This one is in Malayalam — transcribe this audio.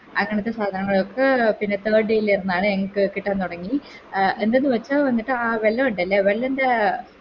അങ്ങനത്തെ സാധനങ്ങളൊക്കെ പിന്നെ Third day ലാണ് ഞങ്ങക്ക് കിട്ടാൻ തൊടങ്ങി എന്താന്നു വെച്ച എന്നിട്ടാ വെള്ളോണ്ടല്ലൊ വെല്ലൻറെ